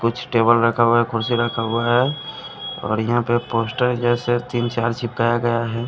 कुछ टेबल रखा हुआ है कुर्सी रखा हुआ है और यहां पे पोस्टर जैसे तीन चार चिपकाया गया है।